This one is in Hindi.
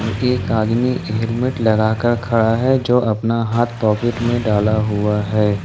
एक आदमी हेलमेट लगाकर खड़ा है जो अपना हाथ पॉकेट में डाला हुआ है।